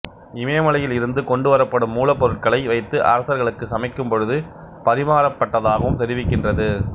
இமயமலையில் இருந்து கொண்டுவரப்படும் மூலப்பொருட்களை வைத்து அரசர்களுக்கு சமைக்கும் பொழுது பரிமாறப்பட்டதாகவும் தெரிவிக்கின்றது